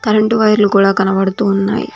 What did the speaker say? రెండు వైర్లు కూడా కనబడుతూ ఉన్నాయి.